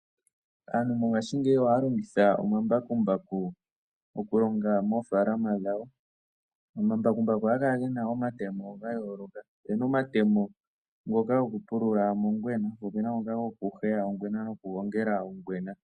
Aantu mongashingeyi ohaya longitha omambakumbaku oku longa moofaalama dhawo. Omambakumbaku ohaga kala ge na omatemo ga yooloka. Opuna omatemo ngoka goku pulula ongwena , po opuna omatemo go ku helela ongwena.